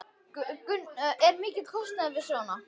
Gunnar Reynir Valþórsson: Er mikill kostnaður við svona?